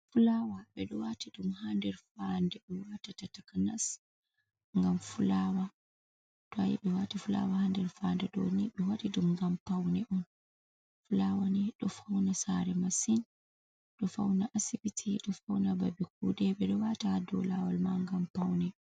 Fulaawa, ɓe ɗo waati ɗum ha nder faande ɓe waatata takanas ngam fulaawa, to a yii ɓe waati fulaawa ha nder faande ɗo ni ɓe waɗi ɗum ngam pawne on fulaawa ɗo fawna saare masin, ɗo fawna asbiti, ɗo fawna babe kuuɗe, ɓe ɗo waata ha dow laawol ma ngam pawne.